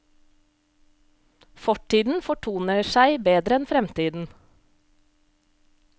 Fortiden fortoner seg bedre enn fremtiden.